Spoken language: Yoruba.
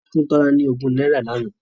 Wọ́n fún Tola ní ogún náírà lánàá